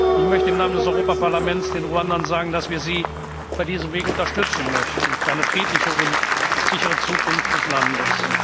möglich sind. Ich möchte im Namen des Europaparlaments den Ruandern sagen, dass wir sie bei diesem Weg unterstützen möchten, für eine friedliche und sichere Zukunft